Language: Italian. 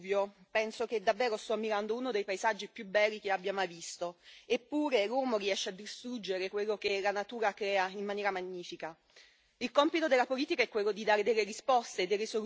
Ogni volta, quando parto e prendo l'aereo e vedo il Vesuvio, penso che davvero sto ammirando uno dei paesaggi più belli che abbia mai visto. Eppure, l'uomo riesce a distruggere quello che la natura crea in maniera magnifica.